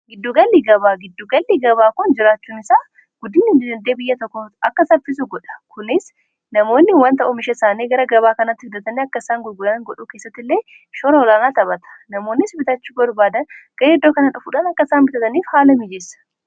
giddugallii gabaa giddu-gallii gabaa kun jiraachuun isaa guddiin ididee biyya takkoo akka tabpisu godha kunis namoonni wan ta'uu misha isaanii gara gabaa kanatti fidhatani akkaisaan gulgulaan godhuu keessatti illee shoroolaanaa taphata namoonnis bitachu barbaadan gareeeddoo kana dhufuudhan akkaisaan bitataniif haala miijeessa